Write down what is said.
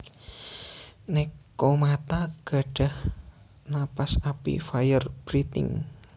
Nekomata gadah napas api Fire Breathing